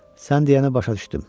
Sən deyənə başa düşdüm.